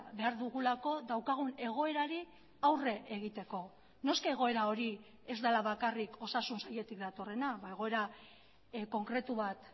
behar dugulako daukagun egoerari aurre egiteko noski egoera hori ez dela bakarrik osasun sailetik datorrena egoera konkretu bat